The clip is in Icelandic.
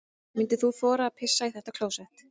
Myndir þú þora að pissa í þetta klósett?